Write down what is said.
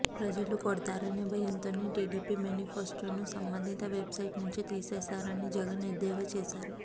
ప్రజలు కొడతారనే భయంతోనే టీడీపీ మేనిఫెస్టోను సంబంధిత వెబ్ సైట్ నుంచి తీసేశారని జగన్ ఎద్దేవా చేశారు